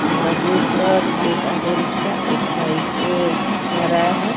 ओह route पर एक auto rickshaw एक बाइक पे जा रहा है।